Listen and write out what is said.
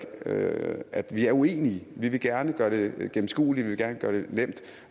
at vi er uenige vi vil gerne gøre det gennemskueligt vi vil gerne gøre det nemt